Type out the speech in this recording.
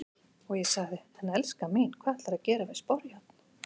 Og ég sagði:- En elskan mín, hvað ætlarðu að gera við sporjárn?